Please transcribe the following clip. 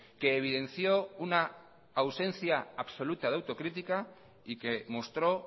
que evidenció una ausencia absoluta de autocrítica y que mostró